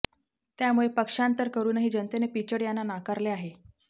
त्यामुळे पक्षांतर करूनही जनतेने पिचड यांना नाकारले आहे